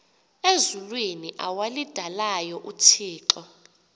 ezulwini awalidalayo uthixo